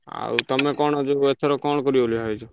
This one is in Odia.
ଆଉ ତମେ କଣ ଯୋଉ ଏଥର କଣ କରିବ ବୋଲି ଭାବିଚ?